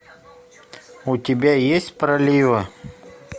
у тебя есть проливы